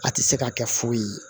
A tɛ se ka kɛ foyi ye